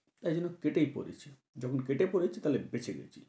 তাই জন্য কেটেই পড়েছি। যখন কেটে পড়েছি তাহলে বেঁচে গেছি।